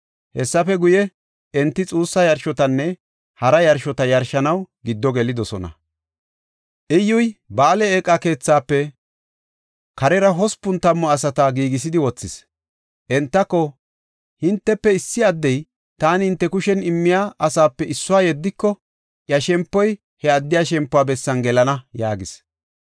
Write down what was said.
Hessafe guye, enti xuussa yarshotanne hara yarshota yarshanaw giddo gelidosona. Iyyuy Ba7aale eeqa keethaafe karera hospun tammu asata giigisidi wothis. Entako, “Hintefe issi addey taani hinte kushen immiya asaape issuwa yeddiko, iya shempoy he addiya shempuwa bessan gelana” yaagis.